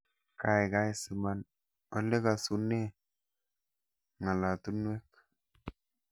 Gaigai siman olegasune ngalatunwek